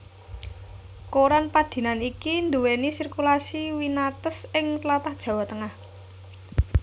Koran padinan iki nduwèni sirkulasi winates ing tlatah Jawa Tengah